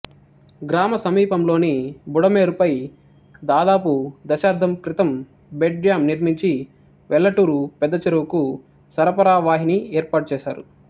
గ్రామ సమీపంలోని బుడమేరుపై దాదాపు దశాబ్దం క్రితం బెడ్ డ్యాం నిర్మించి వెల్లటూరు పెద్దచెరువుకు సరఫరా వాహిని ఏర్పాటుచేసారు